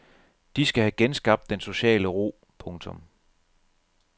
De skal have genskabt den sociale ro. punktum